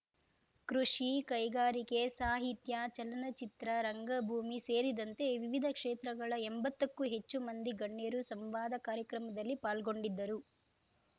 ಕೃಷಿ ಕೈಗಾರಿಕೆ ಸಾಹಿತ್ಯ ಚಲನಚಿತ್ರ ರಂಗಭೂಮಿ ಸೇರಿದಂತೆ ವಿವಿಧ ಕ್ಷೇತ್ರಗಳ ಎಂಬತ್ತಕ್ಕೂ ಹೆಚ್ಚು ಮಂದಿ ಗಣ್ಯರು ಸಂವಾದ ಕಾರ್ಯಕ್ರಮದಲ್ಲಿ ಪಾಲ್ಗೊಂಡಿದ್ದರು